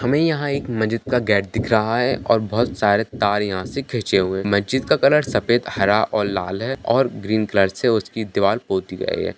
हमें यहाँ एक मस्जिद का गेट दिख रहा है और बहुत सारे तार यहाँ से खींचे हुए हैं मस्जिद का रंग सफेद हरा और लाल है और ग्रीन कलर से इसकी दीवार पोती गयी है।